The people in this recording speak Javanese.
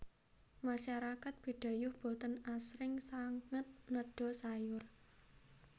Masyarakat Bidayuh boten aasring sanget nedha sayur